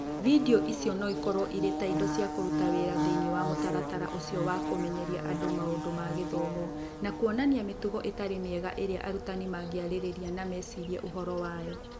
Video icio no ikorũo irĩ ta indo cia kũruta wĩra thĩinĩ wa mũtaratara ũcio wa kũmenyeria andũ maũndũ ma gĩthomo, na kuonania mĩtugo ĩtarĩ mĩega ĩrĩa arutani mangĩarĩrĩria na mecirie ũhoro wayo.